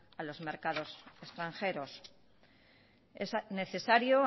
a los mercados extranjeros es necesario